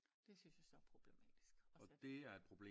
Det synes jeg så er problematisk også at